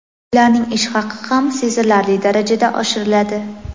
Ularning ish haqi ham sezilarli darajada oshiriladi.